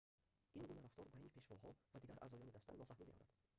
ин гуна рафтор байни пешвоҳо ва дигар аъзоёни даста нофаҳмӣ меорад